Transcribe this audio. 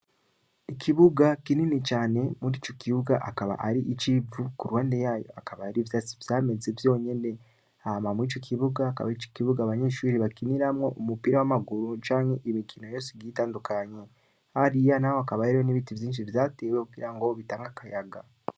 Ikibuga kinini cane murico kibuga, akaba Ari ic'Ivu, Kuruhande yayo hakaba hariyo ivyatsi Vyameze vyonyene. Hama Mwico kibuga hakaba arico kibuga Abanyeshure bakiniramwo Umupira w'Amaguru canke Imikino yose igiye itandukanye . hariya naho hakaba hariyo N'Ibiti vyinshi vyatewe Kugirango Bitange Akayaga.